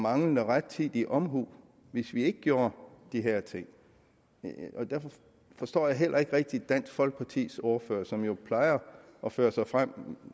manglende rettidig omhu hvis vi ikke gjorde de her ting og derfor forstår jeg heller ikke rigtig at dansk folkepartis ordfører som jo plejer at føre sig frem